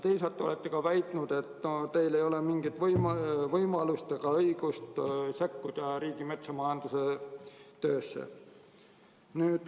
Teisalt te olete väitnud, et teil ei ole mingit võimalust ega õigust sekkuda Riigimetsa Majandamise Keskuse töösse.